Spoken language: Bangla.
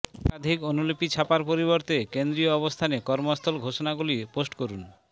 একাধিক অনুলিপি ছাপার পরিবর্তে কেন্দ্রীয় অবস্থানে কর্মস্থল ঘোষণাগুলি পোস্ট করুন